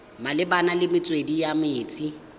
malebana le metswedi ya metsi